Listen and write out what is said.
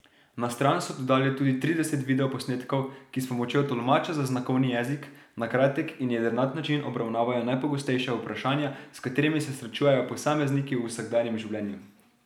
Na stran so dodali tudi trideset videoposnetkov, ki s pomočjo tolmača za znakovni jezik na kratek in jedrnat način obravnavajo najpogostejša vprašanja, s katerimi se srečujejo posamezniki v vsakdanjem življenju.